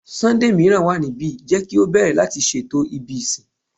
Sunday miiran wa nibi, jẹ ki o bẹrẹ lati ṣeto ibi isin